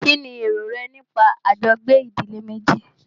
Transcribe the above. Kínní èrò rẹ nípa àjọgbé ìdílé méjì?